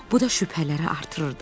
Bu da şübhələri artırırdı.